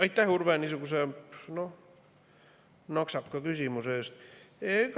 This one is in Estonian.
Aitäh, Urve, niisuguse naksaka küsimuse eest!